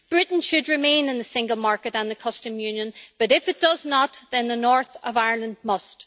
Britain should remain in the single market and the Customs Union, but if it does not, then the north of Ireland must.